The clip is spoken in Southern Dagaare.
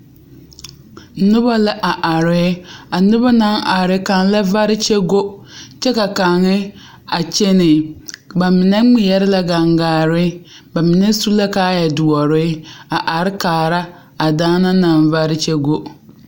Noba la are a noba naŋ are ba kaŋ la vare kyɛ go kyɛ ka kaŋ a kyɛnɛ ba mine ŋmeɛrɛ la gaŋgaare ba mine su la kaayɛdoɔre a kaara a daana naŋ vare kyɛ go.